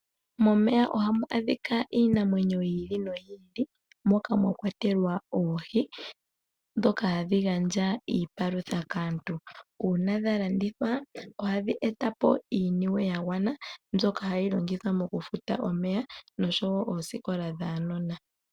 Momeya ohamu adhika iinamwenyo yi ili no yi ili moka mwakwatelwa oohi ndhoka hadhi gandja iipalutha kaantu. Uuna dha landithwa ohadhi etapo iimaliwa yagwana mbyoka hayi longithwa mokufuta omeya noshowoo oosikola dhuunona.